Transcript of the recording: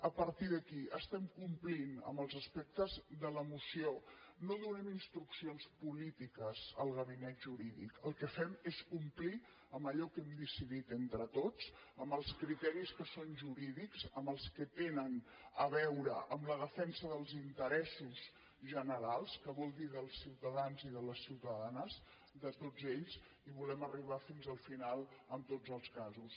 a partir d’aquí estem complint amb els aspectes de la moció no donem instruccions polítiques al gabinet jurídic el que fem és complir amb allò que hem decidit entre tots amb els criteris que són jurídics amb els que tenen a veure amb la defensa dels interessos generals que vol dir dels ciutadans i de les ciutadanes de tots ells i volem arribar fins al final en tots els casos